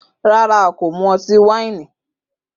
Rara, a ko mu ọti-waini.